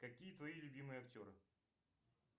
какие твои любимые актеры